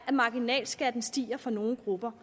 at marginalskatten stiger for nogle grupper